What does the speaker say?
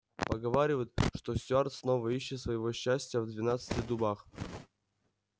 поговаривают что стюарт снова ищет своего счастья в двенадцати дубах